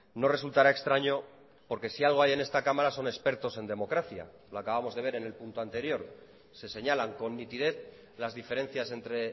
no resultará extraño porque si algo hay en esta cámara son expertos en democracia lo acabamos de ver en el punto anterior se señalan con nitidez las diferencias entre